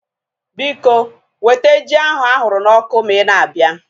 Biko, weta ji ahu ahụrụ na ọkụ ma ị na-abịa